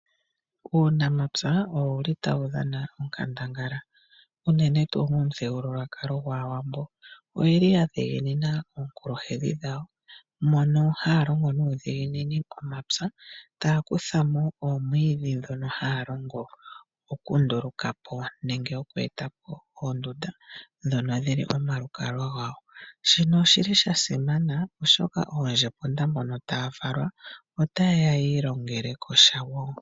Uunamapya owu li tawu dhana onkandangala uunene tuu momuthigilulwakalo gwaawambo. Oye li yadhiginina onkulwahedhi dhawo, mono haa longo nuudhiginini omapya, taakutha mo oomwiidhi dhono haa longo okunduuluka po nenge okweeta po oondunda dhono dhili omalukalwa gawo. Shino oshili sha simana oshoka oondjona mboka taa valwa ota yeya yiilongele ko sha woo.